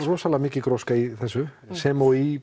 mikil gróska í þessu sem og í